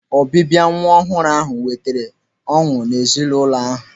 Ọbịbịa nwa ọhụrụ ahụ wetara ọṅụ n'ezinụlọ ahụ.